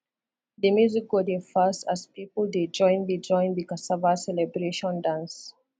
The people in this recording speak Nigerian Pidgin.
the music go dey fast as people dey join the join the cassava celebration dance